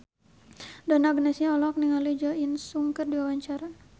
Donna Agnesia olohok ningali Jo In Sung keur diwawancara